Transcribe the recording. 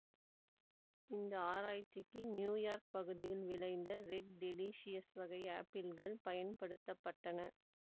இந்த ஆராய்ச்சிக்கு New York பகுதியில் விளைந்த ரெட் டெலிசியஸ் வகை ஆப்பிள்கள் பயன்படுத்த பட்டன